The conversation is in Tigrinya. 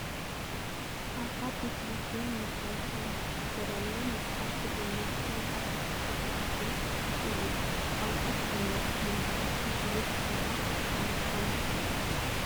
ካብ ትምህርቲ ሚኒስተር ዝተዳለወ መፅሓፍ ትግርኛ ናይ 12 ክፍሊ እዩ ። ቋንቋ ትግርኛ ምምሃር ንዕብየት ትግርኛ ብጣዕሚ ጠቃሚ እዩ ።